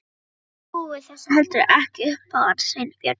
Ég trúi þessu heldur ekki upp á hann Sveinbjörn.